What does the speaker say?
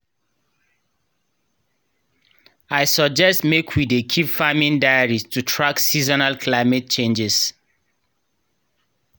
i suggest mek we dey keep farming diaries to track seasonal climate changes.